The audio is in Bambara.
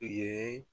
U ye